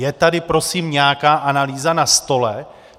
Je tady prosím nějaká analýza na stole?